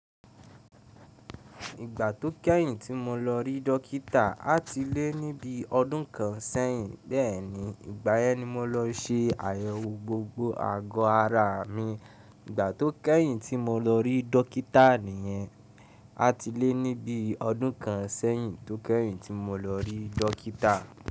Ìgbà tó kẹ́yìn tí mo lọ rí dókítà àtilé ní bí i ọdún kan sẹ́yìn, bẹ́ẹ̀ni, ìgbáyẹ́n ni mo lọ se àyẹ̀wò gbogbo àgọ́ ara mi. Ìgbà tó kẹ́yìn tí mo lọ rí dókítà nìyẹn, àtilé ní bí i ọdún kan sẹ́yìn tó kẹ́yìn tí mo lọ rí dókítà.